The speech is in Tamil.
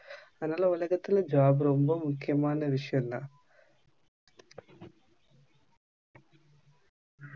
அதுனால உலகத்தில் job ரொம்ப முக்கியமான விஷியம் தான்